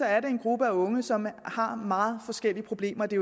er en gruppe af unge som har meget forskellige problemer det